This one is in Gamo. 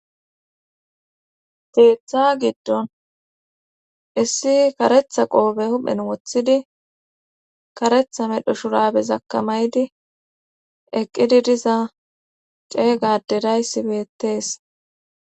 teeththa giddon issi karetha qoobe huphen woththidi karetha medho shurabe zakamaydi eqqidi diza cee gadeday sibettees